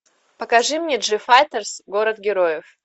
покажи мне джифайтерс город героев